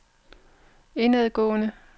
indadgående